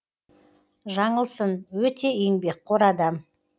жаңылсын өте еңбекқор адам